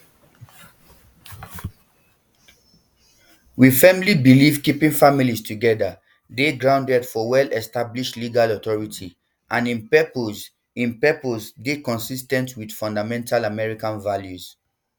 we firmly believe keeping families together dey grounded for wellestablished legal authority um and im purpose im purpose dey consis ten t wit um fundamental american values